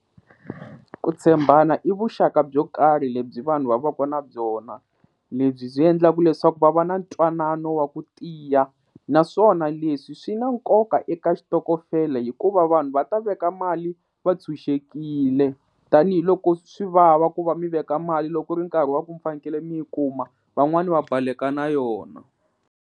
Ku tshembana i vuxaka byo karhi lebyi vanhu va va ka na byona lebyi byi endlaka leswaku va va na ntwanano wa ku tiya naswona leswi swi na nkoka eka xitokofela hikuva vanhu va ta veka mali va tshunxekile tanihiloko swi vava ku va mi veka mali loko ri nkarhi wa ku mi fanekele mi yi kuma van'wani va baleka na yona.